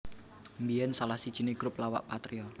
Mbiyen salah sijine grup lawakPatrio